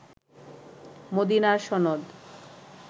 মদিনার সনদ